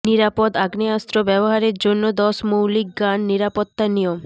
নিরাপদ আগ্নেয়াস্ত্র ব্যবহারের জন্য দশ মৌলিক গান নিরাপত্তা নিয়ম